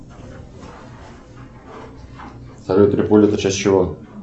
салют триполи это часть чего